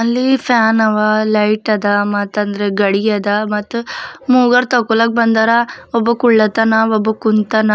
ಅಲ್ಲಿ ಫ್ಯಾನ್ ಅವಾ ಲೈಟ್ ಅದ ಮತ್ತಂದ್ರೆ ಘಡಿಯದ ಮತ್ತು ಮೂವರು ತಕ್ಕೊಳಕ್ ಬಂದಾರ ಒಬ್ಬ ಕೊಳ್ಳತನ ಒಬ್ಬ ಕುಂತಾನ.